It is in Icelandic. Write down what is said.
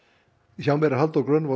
hjá mér er Halldór Grönvold